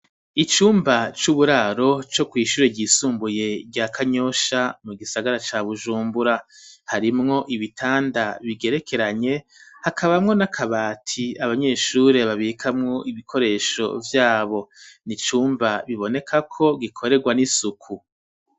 Icumba c'uburaro co kw'shure ryisumbuye rya Kanyosha mu gisagara ca Bujumbura harimwo ibitanda bigerekeranye hakabamwo n'akabati abanyeshuri babikamwo ibikoresho vyabo n'icumba bibonekako gikorerwa n'isuku.